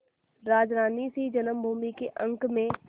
राजरानीसी जन्मभूमि के अंक में